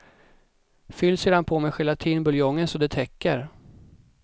Fyll sedan på med gelatinbuljongen så det täcker.